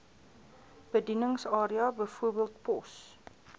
bedieningsarea bv pos